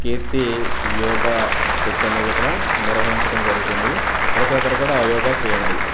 కీర్తి yoga set అనేదిక్కడ నిర్వహించటం జరుగుతుంది ప్రతి ఒక్కరు కూడా యోగా చేయండి.